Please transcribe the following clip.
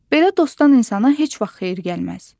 Belə dostdan insana heç vaxt xeyir gəlməz.